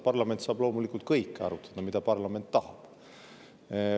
Parlament saab loomulikult arutada kõike, mida parlament tahab.